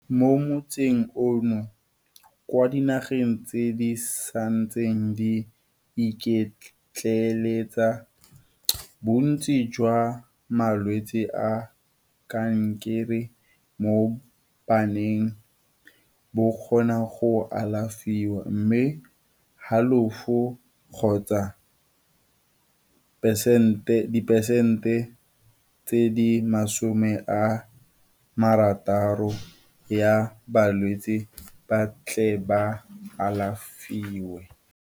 Mo motsing ono, kwa dinageng tse di santseng di iketleletsa, bontsi jwa malwetse a kankere mo baneng bo kgona go alafiwa, mme halofo kgotsa pesente dipesente tse di 60 ya balwetse ba tle ba alafiwe.